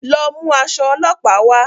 Lọ mú aṣọ olópàá wà